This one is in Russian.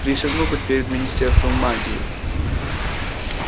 присягну хоть перед министерством магии